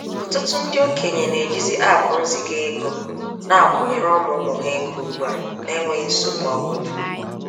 Ɔtụtụ ndị okenye na-ejizi aapụ nziga-ego na akwụnyere ụmụ ụmụ ha ego ugbua na-enweghi nsogbu ọbụla.